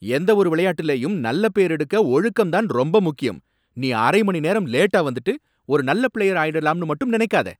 எந்த ஒரு விளையாட்டுலயும் நல்ல பேரெடுக்க ஒழுக்கம் தான் ரொம்ப முக்கியம். நீ அரை மணி நேரம் லேட்டா வந்துட்டு ஒரு நல்ல பிளேயர் ஆயிடலாம்னு மட்டும் நினைக்காத.